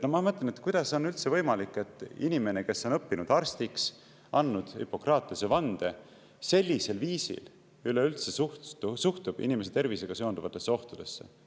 Ma mõtlen, et kuidas on üldse võimalik, et inimene, kes on õppinud arstiks, andnud Hippokratese vande, sellisel viisil üleüldse suhtub inimese tervisega seonduvatesse ohtudesse.